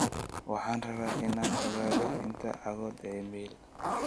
waxaan rabaa in aan ogaado inta cagood ee mayl